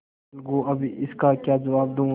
अलगूअब इसका क्या जवाब दूँ